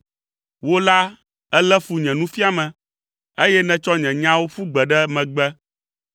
Wò la èlé fu nye nufiame, eye nètsɔ nye nyawo ƒu gbe ɖe megbe.